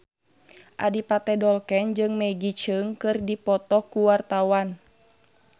Adipati Dolken jeung Maggie Cheung keur dipoto ku wartawan